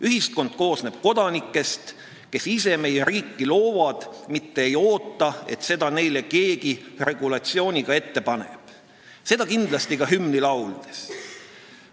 Ühiskond koosneb kodanikest, kes ise meie riiki loovad, mitte ei oota, et keegi neile selle regulatsiooniga ette paneb, see käib kindlasti ka hümni laulmise kohta.